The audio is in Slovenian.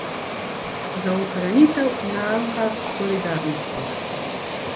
Za ohranitev nauka solidarnosti!